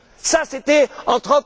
Ça, c'était